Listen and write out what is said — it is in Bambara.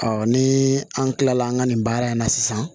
ni an kilala an ka nin baara in na sisan